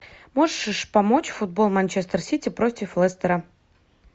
можешь помочь футбол манчестер сити против лестера